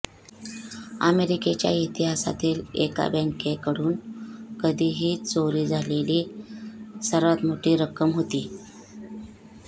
अमेरिकेच्या इतिहासातील एका बँकेकडून कधीही चोरी झालेली सर्वात मोठी रक्कम होती